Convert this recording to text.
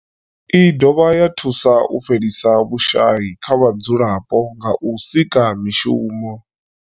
I dovha ya thusa u fhelisa vhushayi kha vhadzulapo nga u sika mishumo.